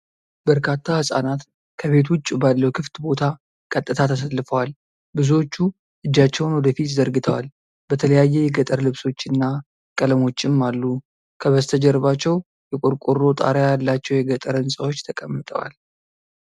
በርካታ ሕጻናት ከቤት ውጪ ባለው ክፍት ቦታ ቀጥታ ተሰልፈዋል። ብዙዎቹ እጃቸውን ወደፊት ዘርግተዋል፣ በተለያየ የገጠር ልብሶችና ቀለሞችም አሉ። ከበስተጀርባቸው የቆርቆሮ ጣሪያ ያላቸው የገጠር ሕንፃዎች ተቀምጠዋል።